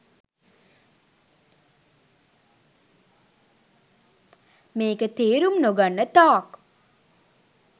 මේක තේරුම් නොගන්න තාක්